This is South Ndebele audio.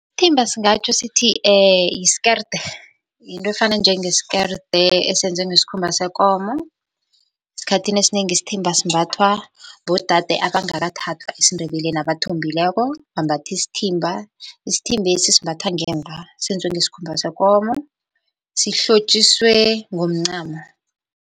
Isthimba singatjho sithi yiskerede, yinto efana njengskeride esenzwe ngesikhumba sekomo. Esikhathini esinengi isithimba simbathwa bodade abangakathathwa esiNdebeleni abathombileko bambatha isithimba. Isithimbesi simbathwa ngemva senziwe ngesikhumba sekomo, sihlotjiswe ngomncamo.